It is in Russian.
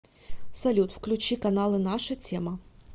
салют включи каналы наша тема